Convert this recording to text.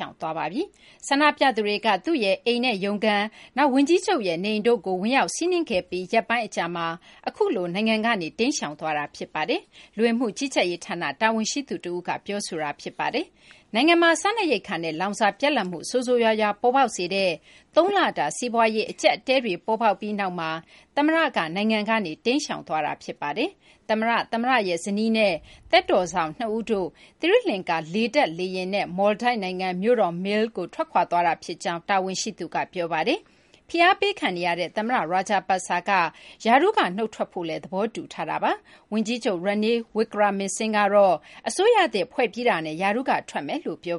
ောင်သွားပါပြီ။ ဆန္ဒပြသူတွေက သူ့ရဲ့ အိမ်နဲ့ ရုံးခန်း၊ နောက် ဝန်ကြီးချုပ်ရဲ့ နေအိမ်တို့ကို ဝင်ရောက်စီးနင်းခဲ့ပြီး ရက်ပိုင်း အကြာမှာ အခုလို နိုင်ငံကနေ ထွက်ခွာသွားတာ ဖြစ်ပါတယ်။ လူဝင်မှု ကြီးကြပ်ရေး ဌာန တာဝန်ရှိသူ တဦးက အခုလို ပြောဆိုတာ ဖြစ်ပါတယ်။ နိုင်ငံမှာ စားနပ်ရိက္ခာနဲ့ လောင်စာ ပြတ်လပ်မှု ဆိုးဆိုးရွားရွား ပေါ်ပေါက်စေတဲ့ သုံးလတာ စီးပွားရေး အကျပ်အတည်းတွေ ဖြစ်ပြီးနောက်မှာ သမ္မတက နိုင်ငံကနေ ထွက်ခွာတာလည်း ဖြစ်ပါတယ်။ သမ္မတ၊ သမ္မတရဲ့ ဇနီးနဲ့ သက်တော်စောင့် ၂ ဦးတို့ သီရိလကာၤ လေတပ် လေယာဉ်နဲ့ မော်လ်ဒိုက်နိုင်ငံ မြို့တော် Male ကို ထွက်ခွာသွားတာ ဖြစ်ကြောင်း တာဝန်ရှိသူက ပြောပါတယ်။ ဖိအားပေးခံနေရတဲ့ သမ္မတ Rajapaksa က ရာထူးက နုတ်ထွက်ဖို့ သဘောတူထားတာပါ။ ဝန်ကြီးချုပ် Ranil Wickremesinghe ကတော့ အစိုးရသစ် ဖွဲ့ပြီးတာနဲ့ ရာထူးက နုတ်ထွက်မယ်လို့ ပြော